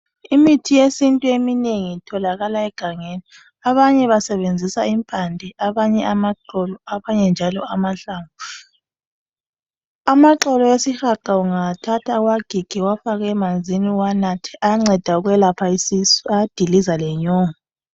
Imithi yesintu eminengi itholakala egangeni. Abanye basebenzisa impande, abanye amaxolo, abanye njalo amahlamvu. Amaxolo esihaqa ungawathatha uwagige uwafake emanzini uwanathe, ayanceda ukwelapha isisu , ayadiliza lenyongo.